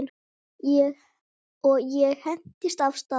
Og ég hentist af stað.